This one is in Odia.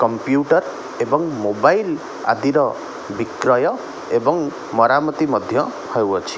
କମ୍ପ୍ୟୁଟର ଏବଂ ମୋବାଇଲ ଆଦିର ବିକ୍ରୟ ଏବଂ ମରାମତି ମଧ୍ୟ ହେଉଅଛି ।